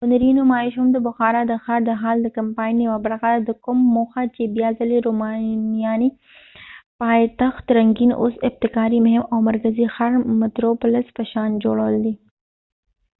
هنری نمایش هم د بخارا د ښار د هال د کمپاین یوه برخه ده د کوم موخه چې بیا ځلی د رومانیایې پایتخت رنګین او ابتکاري مهم او مرکزی ښارمتروپولس په شان جوړول دی